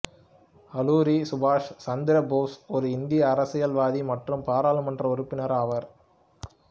ஆலூரி சுபாஷ் சந்திர போஸ் ஒரு இந்திய அரசியல்வாதி மற்றும் ஒரு பாராளுமன்ற உறுப்பினர் ஆவாா்